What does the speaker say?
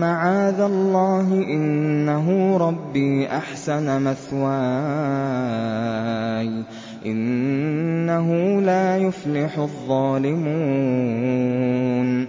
مَعَاذَ اللَّهِ ۖ إِنَّهُ رَبِّي أَحْسَنَ مَثْوَايَ ۖ إِنَّهُ لَا يُفْلِحُ الظَّالِمُونَ